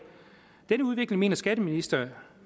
denne udvikling mener skatteministeriet